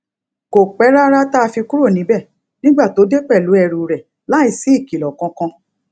kò pé rárá tá a fi kúrò níbè nígbà tó dé pèlú ẹrù rè láìsí ìkìlò kankan